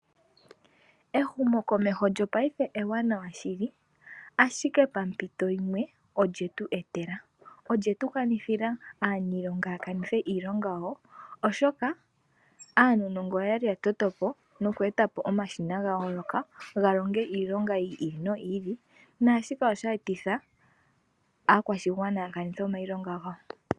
Ehumokomeho lyo paife ewanawa shili ashike pa mpito yimwe olye tu etela. Olye tu kanithila aalongi ya kanithe iilonga yawo, oshoka aanongo oya li ya toto po noku eta po omashina gawo goka ga longe ga longe iilonga yi ili noyi ili. Naashika osha etitha aakwashigwana ya kanithe iilonga yawo.